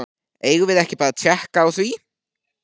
Eigum við ekki bara að tékka á því?